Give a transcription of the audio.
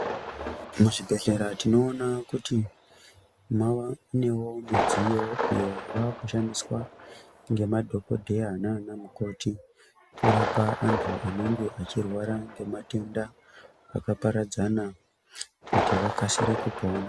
Muzvibhehlera tinoona kuti mavanewo midziyo iyo yavakushandiswa nemadhokodheya nanamukoti kurapa antu anenge achirwara nematenda akaparadzana kuti vakasire kupona.